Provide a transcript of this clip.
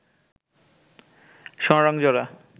সোনারং জোড়া